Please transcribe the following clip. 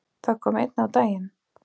Það kom einnig á daginn.